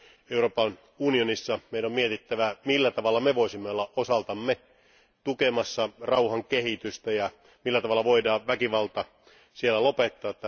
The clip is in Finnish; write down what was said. Euroopan unionissa meidän on mietittävä, millä tavalla me voisimme olla osaltamme tukemassa rauhan kehitystä ja millä tavalla väkivalta voidaan lopettaa.